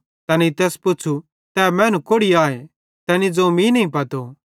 तैनेईं तैस पुच़्छ़ू तै मैनू कोड़ि आए तैनी ज़ोवं मीं नईं पतो